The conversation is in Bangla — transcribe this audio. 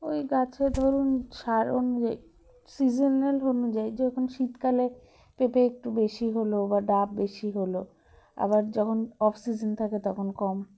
ঐ গাছে ধরুন সার অনুযায়ী seasonal অনুযায়ী যখন শীতকালে পেঁপে একটু বেশি হলো বা ডাব বেশি হলো আবার যখন offseason থাকে তখন কম